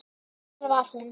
Þar var hún.